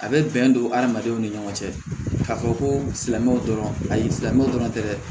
A bɛ bɛn don hadamadenw ni ɲɔgɔn cɛ ka fɔ ko silamɛw dɔrɔn ayi silamɛw dɔrɔn tɛ dɛ